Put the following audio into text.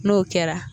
N'o kɛra